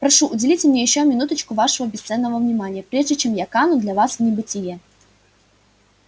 прошу уделите мне ещё минуту вашего бесценного внимания прежде чем я кану для вас в небытие